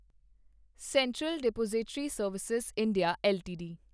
central depository service India LTD